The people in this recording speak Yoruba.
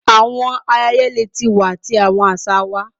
Awọn ayẹyẹ leti wa ti awọn aṣa wa